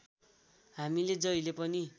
हामीले जहिले पनि